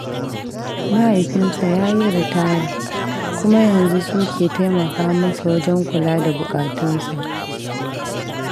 Mahaifinsa ya yi ritaya, kuma yanzu su ke taimaka masa wajen kula da bukatunsa.